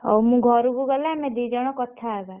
ହଉ ମୁଁ ଘରକୁ ଗଲେ ଆମେ ଦି ଜଣ କଥା ହବା।